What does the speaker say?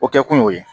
O kɛ kun y'o ye